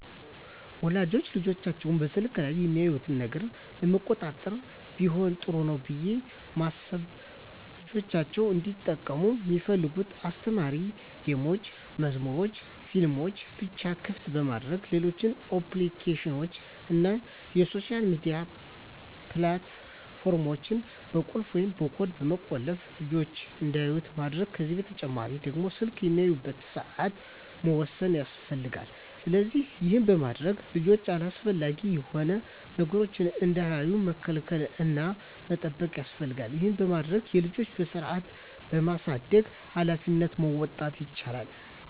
ወላጆች ልጆቻቸው በስልክ ላይ የሚያዩትን ነገር ለመቆጣጠር ቢሆን ጥሩ ነው ብየ ማስበው ልጆቻቸው እንዲጠቀሙ ሚፈልጉትን አስተማሪ ጌሞችን፣ መዝሙሮችንናፊልሞችን ብቻ ክፍት በማድረግ ሌሎች አፕሊኬሽኖችን እና የሶሻል ሚዲያ ፕላት ፎርሞችን በቁልፍ ወይም በኮድ በመቆለፍ ልጅች እንዳያዩት ማድረግ ከዚህ በተጨማሪ ደግሞ ስልክ የሚያዩበትን ሰአት መወሰን ያስፈልጋል። ስለዚህ ይህን በማድረግ ልጆች አላስፈላጊ የሆኑ ነገሮችን እንዳያዩ መከላከል እና መጠበቅ ያስፈልጋል ይህን በማድረግ የልጆችን በስርአት የማሳደግ ሀላፊነቶችን መወጣት ይቻላል።